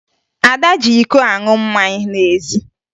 Ada ji iko aṅụ mmanya n'ezi